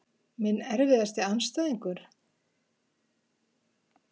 Minn erfiðasti andstæðingur?